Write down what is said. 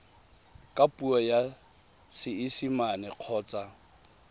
ka puo ya seesimane kgotsa